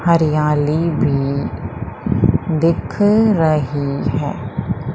हरियाली भी दिख रही है।